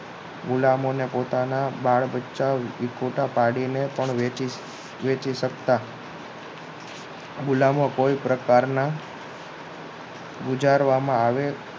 ગુલામોને પોતાના બાળ બચ્ચા ખોટા પાડીને પણ વેચી વેચી શકતા ગુલામો કોઈ પ્રકારના ગુજારવામાં આવેલ